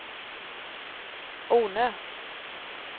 Ornö